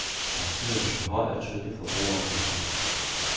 Partiet ønsker høj og tydelig forbrugeroplysning.